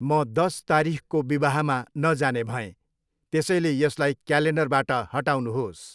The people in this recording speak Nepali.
म दस तारिखको विवाहमा नजाने भएँ, त्यसैले यसलाई क्यालेन्डरबाट हटाउनुहोस्।